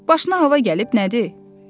Başına hava gəlib nədir?